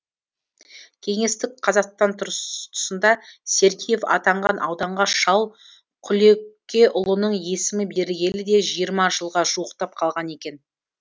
кеңестік қазақстан тұсында сергеев атанған ауданға шал құлекеұлының есімі берілгелі де жиырма жылға жуықтап қалған екен